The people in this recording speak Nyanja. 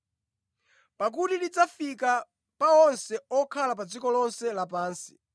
Pakuti lidzafika pa onse okhala pa dziko lonse lapansi.